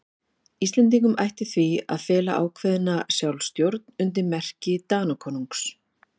Íslendingum ætti því að fela ákveðna sjálfstjórn undir merki Danakonungs.